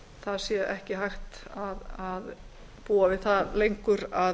það sé ekki hægt að búa við það lengur að